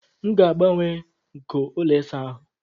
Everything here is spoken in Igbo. M ga-agbanwe nko ụlọ ịsa ahụ